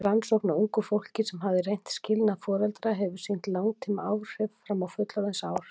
Rannsókn á ungu fólki sem hafði reynt skilnað foreldra hefur sýnt langtímaáhrif fram á fullorðinsár.